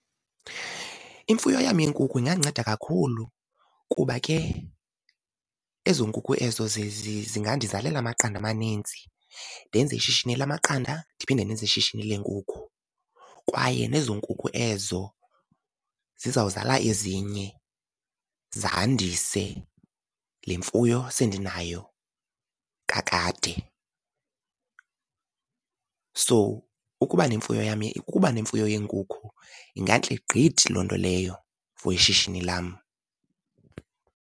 Imfuyo yam yeenkukhu ingandinceda kakhulu kuba ke ezo nkukhu ezo zingandizizalela amaqanda amaninzi, ndenze ishishini lamaqanda, ndiphinde ndenze ishishini leenkukhu. Kwaye nezo nkukhu ezo ziza kuzala ezinye, zandise le mfuyo sendinayo kakade. So ukuba ukuba nemfuyo yeenkukhu ingantle gqithi loo nto leyo for ishishini lam.